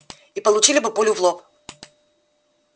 и получили бы пулю в лоб